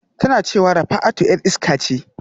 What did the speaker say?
Tana cewa Rafatu 'yar iska ce